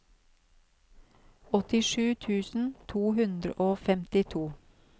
åttisju tusen to hundre og femtito